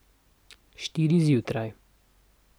Štiri zjutraj.